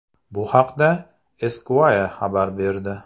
Bu haqda Esquire xabar berdi .